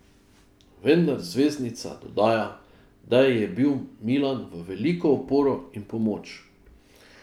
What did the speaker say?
Vendar zvezdnica dodaja, da ji je bil Milan v veliko oporo in pomoč.